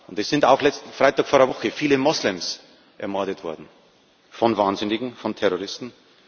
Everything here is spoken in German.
Es sind auch letzten Freitag, vor einer Woche, viele Moslems ermordet worden von Wahnsinnigen, von Terroristen.